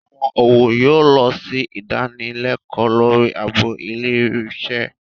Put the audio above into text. Àwọn ọ̀wọ́ yóò lọ sí ìdanilẹ́kọ̀ọ́ lórí ààbò ilé iṣẹ́